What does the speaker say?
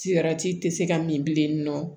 tɛ se ka min bilen nɔ